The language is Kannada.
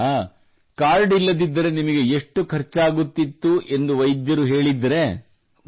ಹೌದಾ ಕಾರ್ಡ್ ಇಲ್ಲದಿದ್ದರೆ ನಿಮಗೆ ಎಷ್ಟು ಖರ್ಚಾಗತ್ತಿತ್ತು ಎಂದು ವೈದ್ಯರು ಹೇಳಿದ್ದರೆ